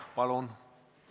Palun!